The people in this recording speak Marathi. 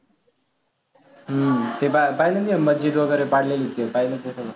हम्म ते पाहिलं की मस्जिद वगैरे पाडलेलं पाहिलं ते सगळं.